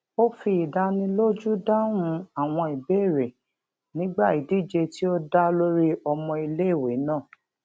ó fi ìdánilójú dáhùn àwọn ìbéèrè nígbà ìdíje tí ó dá lórí ìmọ iléèwé náà